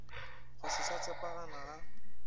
go se sa tshepana ga